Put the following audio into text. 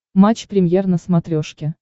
матч премьер на смотрешке